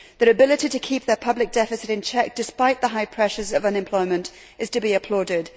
Their ability to keep their public deficit in check despite the high pressures of unemployment is to be applauded.